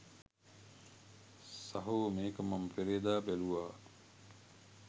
සහෝ මේක මම පෙරේදා බැලුවා.